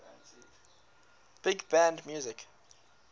big band music